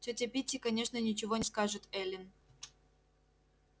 тётя питти конечно ничего не скажет эллин